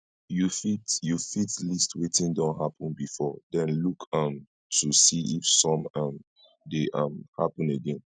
you fit you fit list wetin don happen before then look um to see if some um dey um happen again